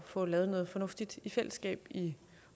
få lavet noget fornuftigt i fællesskab i